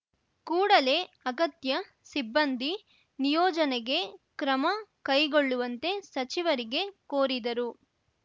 ಕೂಡಲೇ ಅಗತ್ಯ ಸಿಬ್ಬಂದಿ ನಿಯೋಜನೆಗೆ ಕ್ರಮ ಕೈಗೊಳ್ಳುವಂತೆ ಸಚಿವರಿಗೆ ಕೋರಿದರು